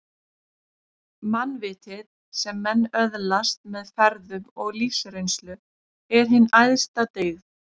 Mannvitið, sem menn öðlast með ferðum og lífsreynslu, er hin æðsta dyggð